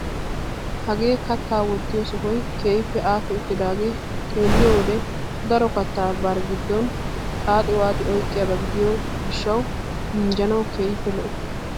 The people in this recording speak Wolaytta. Hagee kattaa wottiyo sohay keehippe aakki uttidaagee xeelliyo wode daro kattaa bari giddon xaaxi waaxi oyqqiyaba gidiyogee minjjanawu keehippe lo"o.